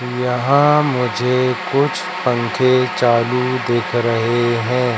यहां मुझे कुछ पंखे चालू दिख रहे हैं।